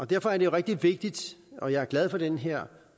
derfor er det rigtig vigtigt og jeg er glad for den her